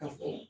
Ka fɔ